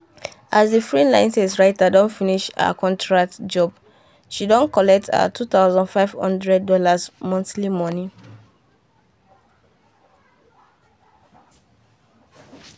as the freelance writer don finish her contract jobshe don collect her $2500 monthly money.